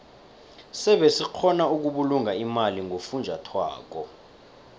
sebe sikgona ukubulunga imali ngofunjathwako